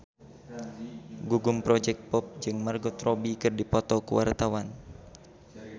Gugum Project Pop jeung Margot Robbie keur dipoto ku wartawan